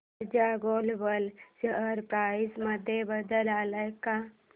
ऊर्जा global share price मध्ये बदल आलाय का